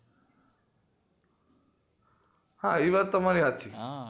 હા એ વાત તમારી સાચી હા